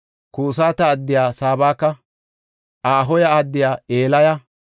Kusata addiya Sabaka, Ahoha addiya Elaya,